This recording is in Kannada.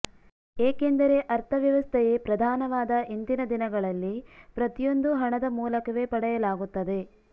ಏಕೆಂದರೆ ಅರ್ಥವ್ಯವಸ್ಥೆಯೇ ಪ್ರಧಾನವಾದ ಇಂದಿನ ದಿನಗಳಲ್ಲಿ ಪ್ರತಿಯೊಂದೂ ಹಣದ ಮೂಲಕವೇ ಪಡೆಯಲಾಗುತ್ತದೆ